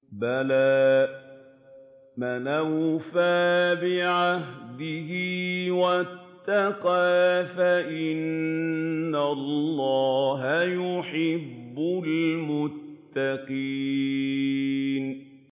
بَلَىٰ مَنْ أَوْفَىٰ بِعَهْدِهِ وَاتَّقَىٰ فَإِنَّ اللَّهَ يُحِبُّ الْمُتَّقِينَ